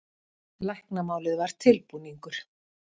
Læknamálið var tilbúningur.